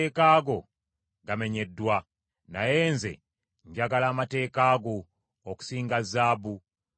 Naye nze njagala amateeka go okusinga zaabu, wadde zaabu omulongoose.